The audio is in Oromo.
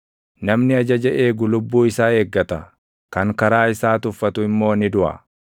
Namni ajaja eegu lubbuu isaa eeggata; kan karaa isaa tuffatu immoo ni duʼa.